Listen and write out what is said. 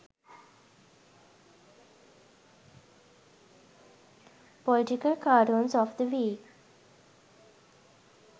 political cartoons of the week